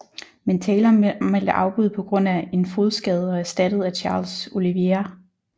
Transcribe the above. Men Taylor meldte afbud på grund af en fodskade og erstattet af Charles Oliveira